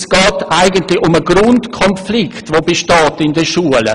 Es geht hier eigentlich um einen Grundkonflikt in den Schulen.